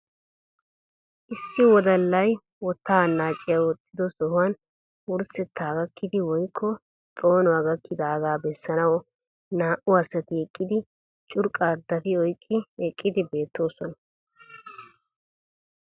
Issi wodalay wotaa anaacciya woxxiyo sohuwan wursetta gakkidi woykko xoonuwa gakkidaagaa bessanawu naa"u asati eqqidi curqqaa dafi oyqqi eqqidi beettoosona.